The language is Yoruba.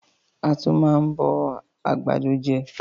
A tún máa ń bọ àgbàdo je